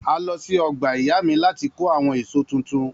A lọ sí ọgbà ìyá mi láti kó àwọn èso tuntun.